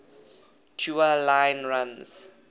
tua line runs